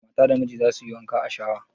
Mata da miji za su yi wanka a shawa